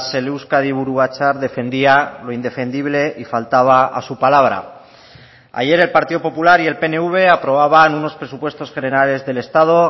el euskadi buru batzar defendía lo indefendible y faltaba a su palabra ayer el partido popular y el pnv aprobaban unos presupuestos generales del estado